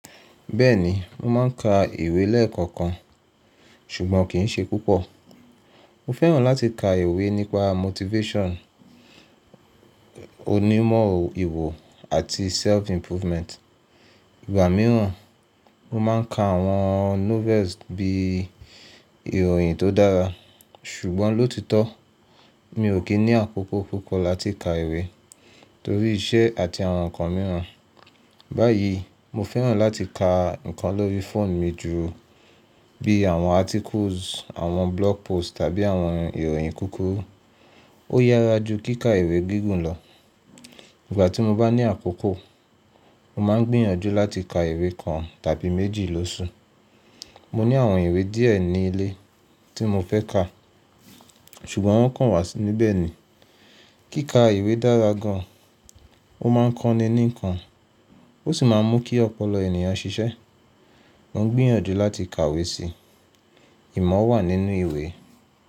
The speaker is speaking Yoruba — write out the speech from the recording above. Bẹ́ẹ̀ni, mo máà ń ka ìwé lẹ́ẹ̀kọ̀kan, ṣùgbọ́n kì í ṣe púpọ̀. Mo fẹ́ràn láti ka ìwé nípa motifesan, onímọ̀ ìwò àti self improvement. Ìgbà mìíràn, mo máà ń ka àwọn iwe bí i ìròyìn tó dára. Ṣùgbọ́n lóòtítọ́, mi ò kí ní àkókò púpọ̀ láti ka ìwé torí iṣẹ́ àti àwọn nǹkan mìíràn. Báyìí, mo fẹ́ràn láti ka nǹkan lórí phone mi jù bí i àwọn articles, àwọn blog post tàbí àwọn ìròyìn kúkúrú. Ó yára ju kí ka ìwé gígùn lọ. Ìgbà tí mo bá ní àkókò, mo máa ń gbìyànjú láti ka ìwé kan tàbí méjì lóṣù. Mo ní àwọn ìwé díẹ̀ ní ilé tí mo fẹ́ ka, ṣùgbọ́n wọ́n kàn wà sí níbẹ̀ ni. Kí ka ìwé dára gan an, ó má ń kọ́ni ní nǹkan, ó sì má ń mú kí ọ̀pọ̀lọpọ̀ ènìyàn ṣiṣẹ́. Mo ń gbìyànjú láti kàwé si. Ìmọ̀ wà nínú ìwé.